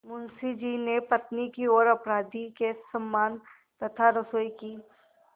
मुंशी जी ने पत्नी की ओर अपराधी के समान तथा रसोई की